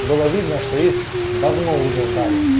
было видно что их давно уже ждали